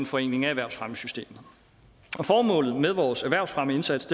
forenkling af erhvervsfremmesystemet formålet med vores erhvervsfremmeindsats